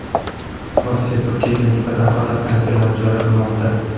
Rossiya Turkiyaga nisbatan qator sanksiyalar joriy qilmoqda.